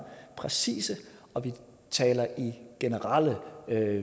præcise og ikke taler i generelle